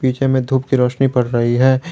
पीछे में धूप की रोशनी पड़ रही है।